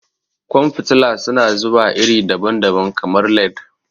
Ƙwan fitila su na zuwa iri daban-daban, kamar LED.